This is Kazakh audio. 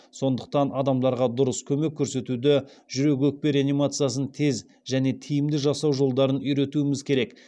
сондықтан адамдарға дұрыс көмек көрсетуді жүрек өкпе реанимациясын тез және тиімді жасау жолдарын үйретуіміз керек